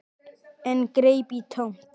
En greip í tómt.